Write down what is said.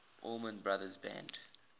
allman brothers band